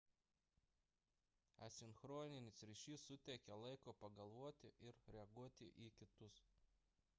asinchroninis ryšys suteikia laiko pagalvoti ir reaguoti į kitus